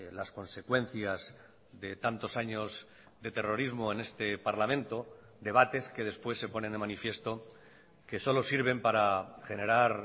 las consecuencias de tantos años de terrorismo en este parlamento debates que después se ponen de manifiesto que solo sirven para generar